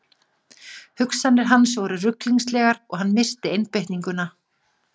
Hugsanir hans voru ruglingslegar og hann missti einbeitninguna.